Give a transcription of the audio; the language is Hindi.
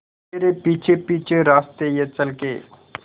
तेरे पीछे पीछे रास्ते ये चल के